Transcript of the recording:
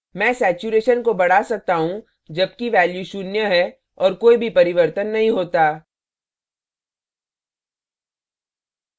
मैं saturation saturation को बढ़ा सकता हूँ जबकि value शून्य है और कोई भी परिवर्तन नहीं होता